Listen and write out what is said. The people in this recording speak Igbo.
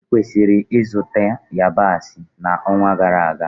Ị kwesịrị ịgote yabasị na onwa gara aga